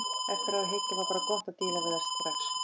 Eftir á að hyggja var bara gott að díla við það strax.